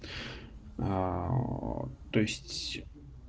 то есть